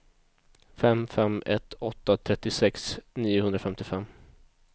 fem fem ett åtta trettiosex niohundrafemtiofem